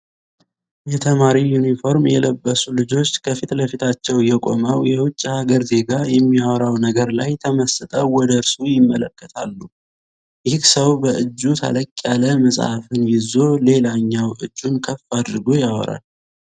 የተማሪ ዩኒፎርም የለበሱ ልጆች ከፊት ለፊታቸው የቆመው የዉጭ ሃገር ዜጋ የሚያወራው ነገር ላይ ተመስጠው ወደእርሱ ይመለከታሉ። ይህ ሰው በእጁ ተለቅ ያለ መጽሃፍን ይዞ ሌላኛው እጁን ከፍ አድርጎ ያወራል።